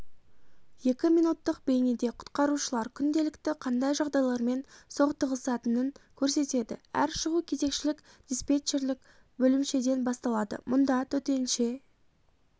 екі минуттық бейнеде құтқарушылар күнделікті қандай жағдайлармен соқтығысатынын көрсетеді әр шығу кезекшілік-диспетчерлік бөлімшеден басталады мұнда төтенше